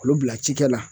Olu bila cikɛ la